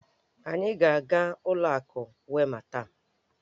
Anyị a ga-aga n'ụlọ akụ Wema taa?